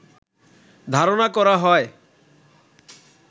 ধারনা করা হয়